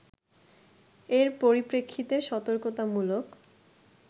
এর পরিপ্রেক্ষিতে সতর্কতামূলক